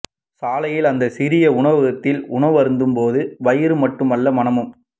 சாலையில் அந்த சிறிய உணவகத்தில் உணவருந்தும் போது வயிறு மட்டுமல்ல மனமும்